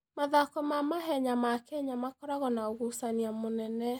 Mathako ma mahenya ma Kenya makoragwo na ũgucania mũnene.